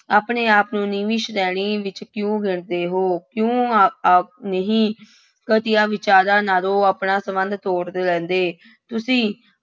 ਆਪਣੇ ਆਪ ਨੂੰ ਨੀਵੀਂ ਸ੍ਰੇਣੀ ਵਿੱਚ ਕਿਉਂ ਗਿਣਦੇ ਹੋ ਕਿਉਂ ਆ ਆਪ ਨਹੀਂ ਘਟੀਆ ਵਿਚਾਰਾਂ ਨਾਲੋਂ ਆਪਣਾ ਸੰਬੰਧ ਤੋੜ ਲੈਂਦੇ, ਤੁਸੀਂ